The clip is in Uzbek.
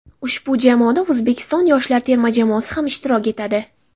Ushbu musobaqada O‘zbekiston yoshlar terma jamoasi ham ishtirok etadi.